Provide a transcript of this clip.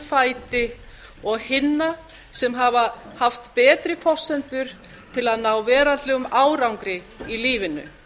fæti og hinna sem hafa haft betri forsendum til að ná veraldlegum árangri í lífinu